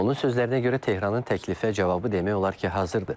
Onun sözlərinə görə Tehranın təklifə cavabı demək olar ki, hazırdır.